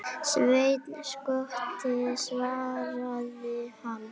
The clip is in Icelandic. Sveinn skotti, svaraði hann.